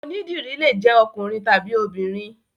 Onídìrí lè jẹ́ ọkùnrin tàbí obìnrin.